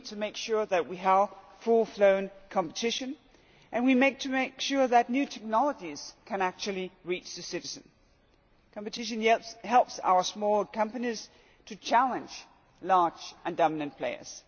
We need to make sure that we have full blown competition and to make sure that new technologies can actually reach the citizen. Competition helps our small companies to challenge large and dominant players.